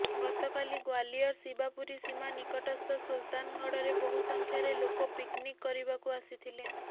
ଗତକାଲି ଗ୍ୱାଲିୟର ଶିବାପୁରୀ ସୀମା ନିକଟସ୍ଥ ସୁଲତାନଗଡରେ ବହୁ ସଂଖ୍ୟାରେ ଲୋକ ପିକ୍ନିକ୍ କରିବାକୁ ଆସିଥିଲେ